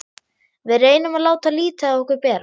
Við reynum að láta lítið á okkur bera.